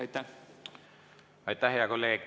Aitäh, hea kolleeg!